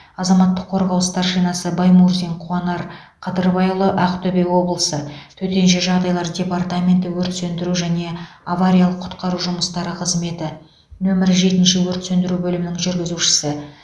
азаматтық қорғау старшинасы баймурзин қуанар қадырбайұлы ақтөбе облысы төтенше жағдайлар департаменті өрт сөндіру және авариялық құтқару жұмыстары қызметі нөмірі жетінші өрт сөндіру бөлімінің жүргізушісі